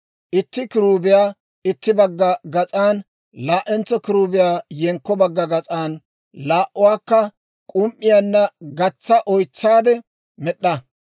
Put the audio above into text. Itti kiruubiyaa itti bagga gas'an, laa"entso kiruubiyaa yenkko bagga gas'an laa"uwaakka k'um"iyaanna gatsa oytsaade med'd'a.